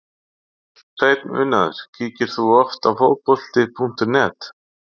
Hreinn unaður Kíkir þú oft á Fótbolti.net?